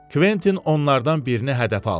Kventin onlardan birini hədəfə aldı.